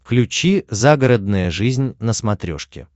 включи загородная жизнь на смотрешке